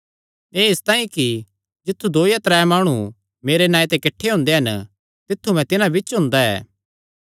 एह़ इसतांई कि जित्थु दो या त्रै माणु मेरे नांऐ ते किठ्ठे हुंदे हन तित्थु मैं तिन्हां बिच्च हुंदा ऐ